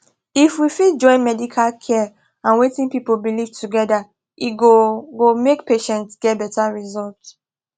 if we fit join medical care and wetin people believe together e go go make patients get better result